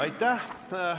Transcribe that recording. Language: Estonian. Aitäh!